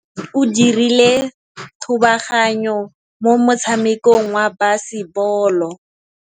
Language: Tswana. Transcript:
Mosimane o dirile thubaganyô mo motshamekong wa basebôlô.